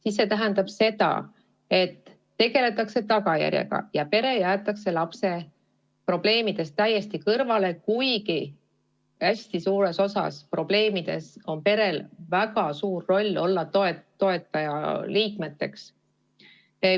Aga see tähendab seda, et tegeldakse tagajärjega ja pere jäetakse lapse probleemidest täiesti kõrvale, kuigi hästi paljude probleemide puhul on perel väga suur roll olla toetajaks.